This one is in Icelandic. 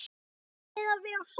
Ættum við að vera hrædd?